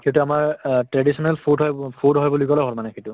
সেইটো আমাৰ অ traditional food হয় বু food হয় বুলি ক'লে হ'ল মানে সেইটো